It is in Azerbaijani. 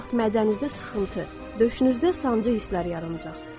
Bu vaxt mədənizdə sıxıntı, döşünüzdə sancı hisslər yaranacaq.